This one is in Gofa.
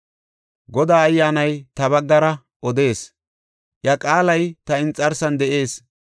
“Godaa Ayyaanay ta baggara odees; iya qaalay ta inxarsan de7ees.